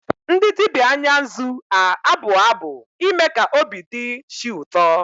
Ndị dibia Anya nzu a-abụ abụ ime ka obi dị chi ụtọ.